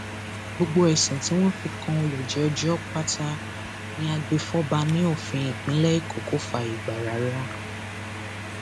gbogbo ẹsùn tí wọn fi kan olùjẹjọ pátá ní agbèfọba ní òfin ìpínlẹ èkó kò fààyè gbà rárá